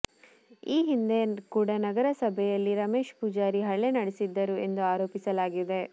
ಈ ಹಿಂದೆ ಕೂಡ ನಗರಸಭೆಯಲ್ಲಿ ರಮೇಶ್ ಪೂಜಾರಿ ಹಲ್ಲೆ ನಡೆಸಿದ್ದರು ಎಂದು ಆರೋಪಿಸಲಾಗಿದೆ